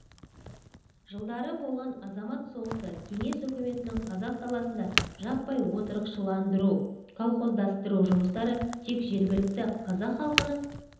жылдары болған азамат соғысы кеңес үкіметінің қазақ даласында жаппай отырықшыландыру колхоздастыру жұмыстары тек жергілікті қазақ халқының